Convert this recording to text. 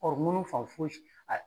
fan foyi si